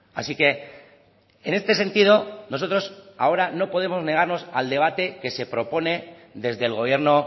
así que en este sentido nosotros ahora no podemos negarnos al debate que se propone desde el gobierno